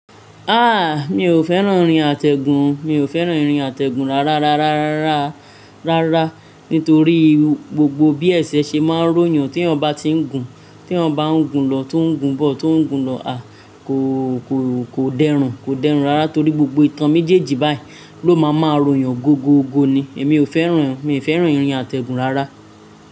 Ah! Mi ò fẹ́ràn ìrìn àtẹ̀gùn, mi ò fẹ́ràn ìrìn àtẹ̀gùn rárá, rárá, rárá, rárá, rárá nítorí gbogbo bí ẹ̀ṣẹ̀ ṣe máa ń ròyàn tí ẹ̀ ò bá ti ń gùn, tí wọ́n bá ń gùn lọ tó ń gùn bọ̀, tó ń gùn lọ à kò, kò, kò dẹrùn, kò dẹrùn rárá torí gbogbo ìtàn méjèèjì báyìí ló máa máa ròyàn gogo, gogo ni. Èmi ò fẹ́ràn, mi ò fẹ́ràn ìrìn àtẹ̀gùn rárá.